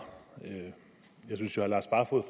med